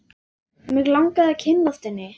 Mig langaði að kynnast henni.